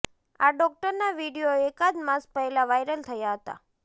આ ડોક્ટરના વીડિયો એકાદ માસ પહેલાં વાયરલ થયા હતા